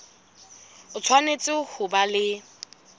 o tshwanetse ho ba le